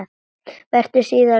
Verður síðar að því vikið.